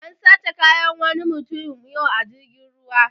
An sace kayan wani mutum yau a jirgin ruwa